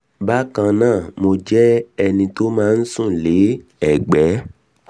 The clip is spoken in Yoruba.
bákan náà mo jẹ́ ẹni tó máa ń sùn lé ẹ̀gbé